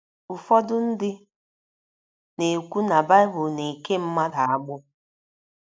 Ụfọdụ ndị na - ekwu na Baịbụl na - eke mmadụ agbụ.